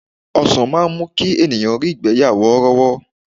Ọsan máa ń mú kí ènìyàn rí ìgbẹ́ yà worowo.